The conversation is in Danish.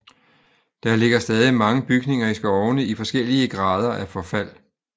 Der ligger stadig mange bygninger i skovene i forskellige grader af forfald